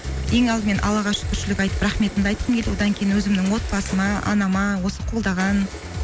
ең алдымен аллаға шүкіршілік айтып рахметімді айтқым келді одан кейін өзімнің отбасыма анама осы қолдаған